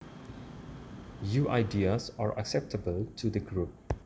You ideas are acceptable to the group